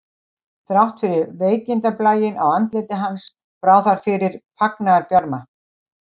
Þrátt fyrir veikindablæinn á andliti hans brá þar fyrir fagnaðarbjarma